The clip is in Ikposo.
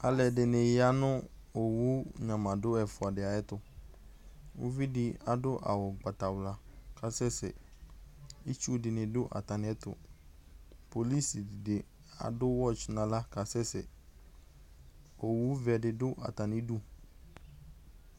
Aluɛdini ya nu owu nyamadu ɛfuadi ayɛtu uvidi adu awu ugbatawla ku akasɛsɛ itsu dini atamiɛtu kpolusi di adu wɛtsi naɣla kasɛsɛ owu vɛdi du atamidu